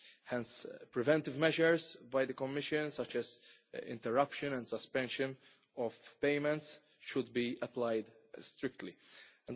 Hence preventive measures by the Commission, such as interruption and suspension of payments, should be strictly applied.